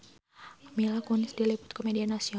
Mila Kunis diliput ku media nasional